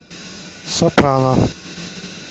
сопрано